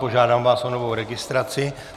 Požádám vás o novou registraci.